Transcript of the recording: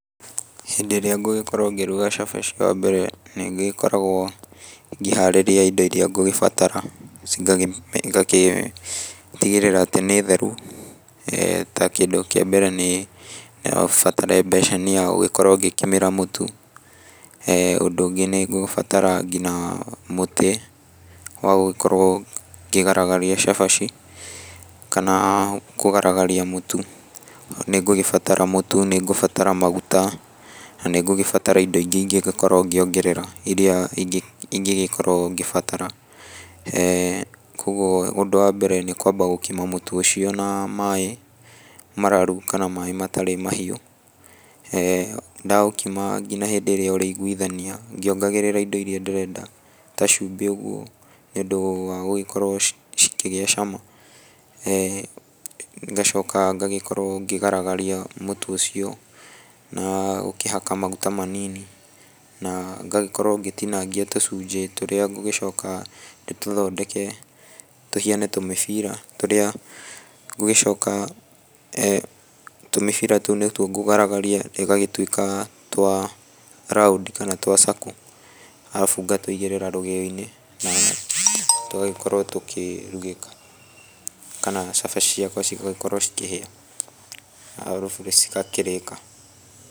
Hĩndĩ ĩrĩa ngũgĩkorwo ngĩruga cabaci wa mbere nĩ ngĩkoragwo ngĩharĩrĩa indo iria ngũgĩbatara ngagĩtigĩrĩra atĩ nĩ theru, ta kĩndĩ kĩa mbere no ũbatare mbeceni ya gũgĩkorwo ngĩkimĩra mũtũ, ũndũ ũngĩ nĩ ngũbatara ngina mũtĩ wa gũkorwo ngĩgaragaria cabaci kana kũgaragaria mũtũ, nĩ ngũgĩbatara mũtu, nĩ ngubatara maguta, na nĩ ngũgĩbatara indo ingĩ ingĩgĩkorwo ngĩongerea, irira ĩngĩgĩkorwo ngĩbatara, kũguo ũndũ wa mbere nĩ kũamba gũkima mũtũ ũcio na maaĩ mararu kana maaĩ matarĩ mahiũ, ndaũkima ngina hĩndĩ ĩrĩa ũrĩiguithania ngĩongagĩrĩra indo iria ndĩrenda ta cumbĩ ũguo nĩ ũndũ wa gũgĩkorwo cikĩgĩa cama, ngacoka ngagĩkorwo ngĩgaragaria mũtũ ũcio, na gũkĩhaka maguta manini, na ngagĩkorwo ngĩtinangia tũcunjĩ tũrĩa ngũgĩcoka ndĩtũthondeke tũhiane tũmĩbira tũrĩa ngũgĩcoka, tũmĩbira tũu nĩ tuo ngũgaragaria ĩgagĩtuĩka twa round kana twa circle arabu ngatũigĩrĩra rũgĩo-inĩ na tũgagĩkorwo tukĩrugĩka kana cabaci ciakwa cigagĩkorwo cikĩhia arabu cigakĩrĩka.